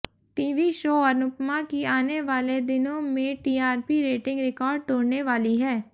TV show Anupama की आने वाले दिनों में टीआरपी रेटिंग रिकॅार्ड तोड़ने वाली है